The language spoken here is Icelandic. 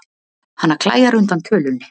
Hana klæjar undan tölunni.